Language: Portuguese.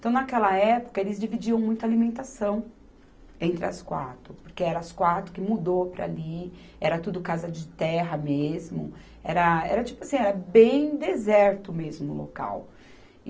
Então, naquela época, eles dividiam muito a alimentação entre as quatro, porque eram as quatro que mudou para ali, era tudo casa de terra mesmo, era, era tipo assim, era bem deserto mesmo o local.